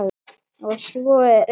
Og svo er eitt enn.